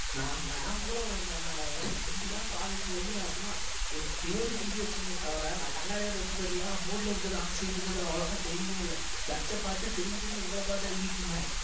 நான் ma'am கூட அந்த ரெண்டு ma'am பாடம் எடுத்தது வந்து நான் சும்மா ஒரு பேருக்கு எழுதி வச்சேனே தவிர நான் கண்ணாடி வேற எடுத்துட்டு வரலையா board ல இருக்கிறது அந்த side இருக்கிறது அவ்வளவா தெரியவே இல்லை பார்த்து பாத்து திரும்பி திரும்பி உங்கள பாத்து தான் எழுதிட்டு இருந்தேன்